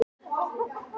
Faxatúni